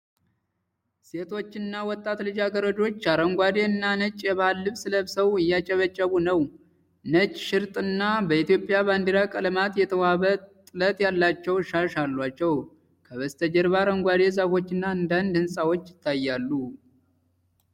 ሴቶችና ወጣት ልጃገረዶች አረንጓዴ እና ነጭ የባህል ልብስ ለብሰው እያጨበጨቡ ነው። ነጭ ሽርጥና በኢትዮጵያ ባንዲራ ቀለማት የተዋበ ጥለት ያላቸው ሻሽ አላቸው። ከጀርባ አረንጓዴ ዛፎችና አንዳንድ ሕንፃዎች ይታያሉ።